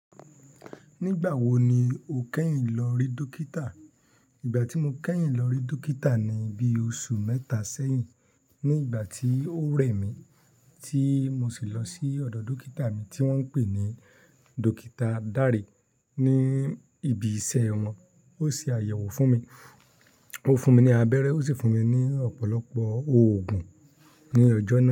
Nígbà wo ni o kẹ́yìn lọ rí dókítà? Ìgbà tí mo kẹ́yìn lọ rí dókítà ni bí i oṣù mẹ́ta sẹ́yìn, ní ìgbà tí ó rẹ̀ mí tí mo sì lọ sí ọ̀dọ̀ dókítà mi tí wọ́n ń pè ní Dókítà Dare ní ibi iṣẹ́ wọn. Ó ṣe àyẹ̀wò fún mi, ó fún mi ní abẹ́rẹ́, ó sì fún mi ní ọ̀pọ̀lọpọ̀ oògùn. Ní ọjọ́ naa.